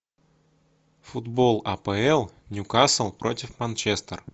футбол апл ньюкасл против манчестер